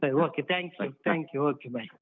Thank you, Thank you, Okay, bye.